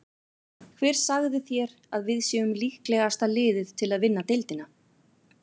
Hver sagði þér að við séum líklegasta liðið til að vinna deildina?